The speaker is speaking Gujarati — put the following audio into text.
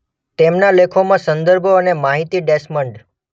તેમના લેખોમાં સંદર્ભો અને માહિતી ડેસ્મન્ડ